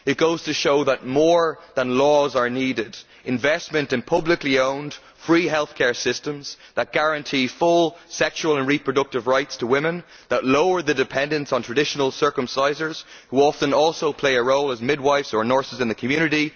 It goes to show that more than laws are needed investment in publicly owned, free healthcare systems that guarantee full sexual and reproductive rights to women, that lower the dependence on traditional circumcisers, who often also play a role as midwives or nurses in the community